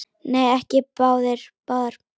Nei, ekki báðar.